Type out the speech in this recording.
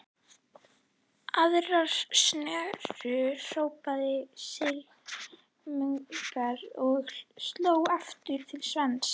Aðra snöru, hrópaði sýslumaður og sló aftur til Sveins.